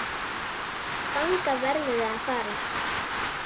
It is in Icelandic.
Þangað verðum við að fara.